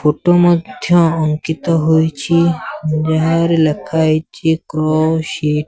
photo ମଧ୍ୟ ଅଙ୍କିତ ହୋଇଛି ଯାହାରେ ଲେଖା ହେଇଚି କ୍ରସ୍ --